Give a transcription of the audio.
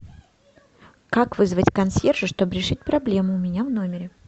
как вызвать консьержа чтобы решить проблему у меня в номере